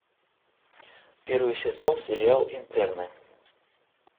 первый сезон сериал интерны